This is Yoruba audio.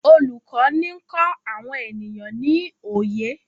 olùkó ní nkọ àwọn ènìyàn ní oyé